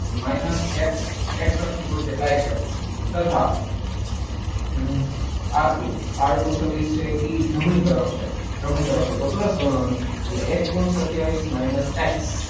તો minus x, x અક્ષ પર છે. તથા. Um R two R two સદીશ છે જમણી તરફ છે. જમણી તરફ હોય તો પ્લસ ગણવાનું. એટલે એક પોઈન્ટ સત્તાવીસ માઇનસ એક્સ.